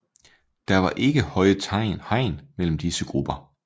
Der var ikke høje hegn mellem disse grupper